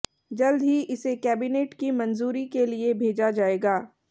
जल्द ही इसे कैबिनेट की मंजूरी के लिये भेजा जाएगा